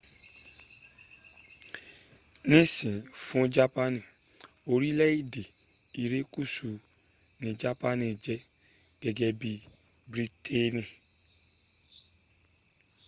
nisin fun japani orileede irekusu ni japani je gege bii briteeni